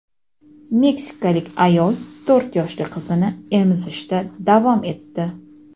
Meksikalik ayol to‘rt yoshli qizini emizishda davom etdi.